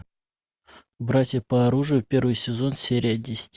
братья по оружию первый сезон серия десять